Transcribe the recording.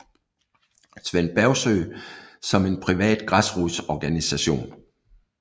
Svend Bergsøe som en privat græsrodsorganisation